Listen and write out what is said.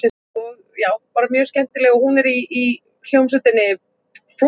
Við fáum til umráða lítið hús sem heitir Álfasteinn.